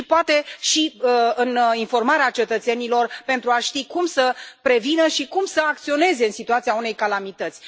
Poate și informarea cetățenilor pentru a ști cum să prevină și cum să acționeze în situația unei calamități.